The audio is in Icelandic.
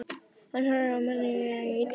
Hann horfir á manninn í ýtunni.